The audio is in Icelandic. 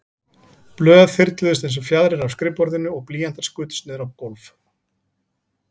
Blöð þyrluðust einsog fjaðrir af skrifborðinu og blýantar skutust niður á gólf.